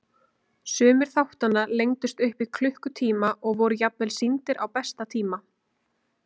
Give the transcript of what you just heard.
Sumir þáttanna lengdust upp í klukkutíma og voru jafnvel sýndir á besta tíma.